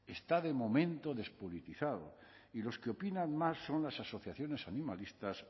está de momento despolitizado y los que opina más son las asociaciones animalistas